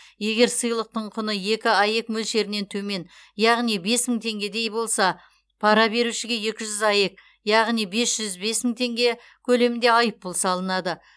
егер сыйлықтың құны екі аек мөлшерінен төмен яғни бес мың теңгедей болса пара берушіге екі жүз аек яғни бес жүз бес мың теңге көлемінде айыппұл салынады